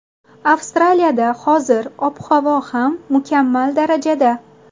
Avstraliyada hozir ob-havo ham mukammal darajada”.